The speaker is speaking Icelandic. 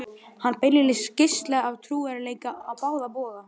Hann beinlínis geislaði af trúverðugleika á báða bóga.